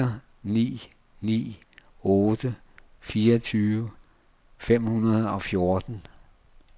fire ni ni otte fireogtyve fem hundrede og fjorten